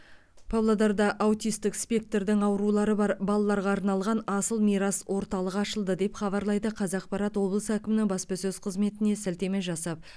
павлодарда аутистік спектрдің аурулары бар балаларға арналған асыл мирас орталығы ашылды деп хабарлайды қазақпарат облыс әкімінің баспасөз қызметіне сілтеме жасап